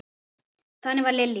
Þannig var Lillý.